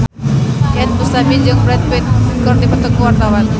Iyeth Bustami jeung Brad Pitt keur dipoto ku wartawan